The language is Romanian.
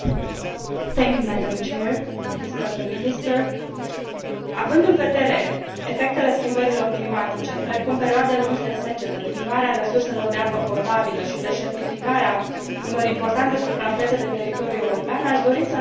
Având în vedere efectele schimbărilor climatice, precum perioade lungi de secetă, diminuarea resurselor de apă potabilă și deșertificarea unor importante suprafețe de teritoriu european, aș dori să întreb Consiliul dacă are în vedere dezvoltarea unui sistem european pentru irigații.